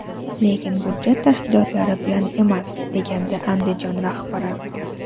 Lekin budjet tashkilotlari bilan emas”, degandi Andijon rahbari.